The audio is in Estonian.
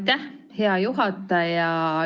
Aitäh, hea juhataja!